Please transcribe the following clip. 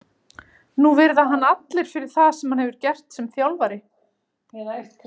Núna virða hann allir fyrir það sem hann hefur gert sem þjálfari.